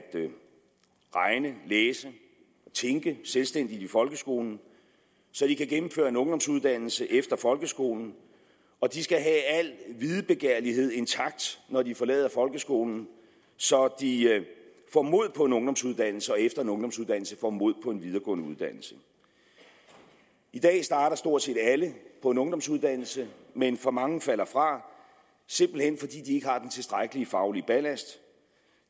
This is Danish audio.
læse og tænke selvstændigt i folkeskolen så de kan gennemføre en ungdomsuddannelse efter folkeskolen og de skal have al videbegærlighed intakt når de forlader folkeskolen så de får mod på en ungdomsuddannelse og efter en ungdomsuddannelse får mod på en videregående uddannelse i dag starter stort set alle på en ungdomsuddannelse men for mange falder fra simpelt hen fordi de ikke har den tilstrækkelige faglige ballast